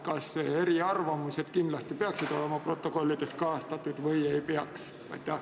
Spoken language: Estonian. Kas eriarvamused peaksid olema protokollides kajastatud või ei peaks?